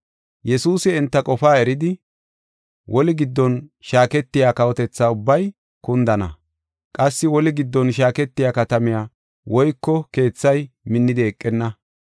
Yesuusi enta qofaa eridi, “Woli giddon shaaketiya kawotetha ubbay kundana; qassi woli giddon shaaketiya katamay woyko keethay minnidi eqenna.